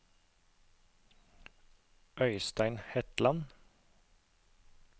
Øistein Hetland